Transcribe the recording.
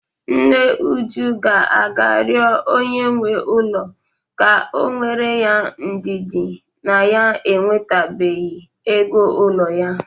Nne Uju ga-aga rịọ onye nwe ụlọ ka o nwere ya ndidi na ya enwetabeghi ego ụlọ ya.